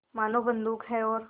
मानो बंदूक है और